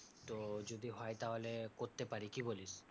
তো যদি হয় তাহলে করতে পারি, কি বলিস?